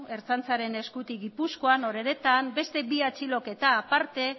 ertzaintzaren eskutik gipuzkoan oreretan beste bi atxiloketa aparte